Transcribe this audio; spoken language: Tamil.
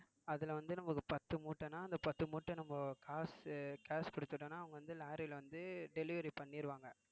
அதுல வந்து நமக்கு ஒரு பத்து மூட்டைன்னா அந்த பத்து மூட்டை நம்ம காசு cash கொடுத்துட்டோம்னா அவங்க வந்து lorry ல வந்து delivery பண்ணிருவாங்க